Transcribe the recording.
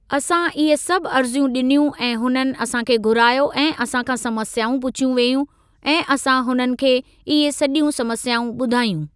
असां इहे सभु अर्ज़ियूं ॾिनियूं ऐं हुननि असां खे घुरायो ऐं असां खां समस्याऊं पुछियूं वेयूं ऐं असां हुननि खे इहे सॼियूं समस्याऊं ॿुधायूं।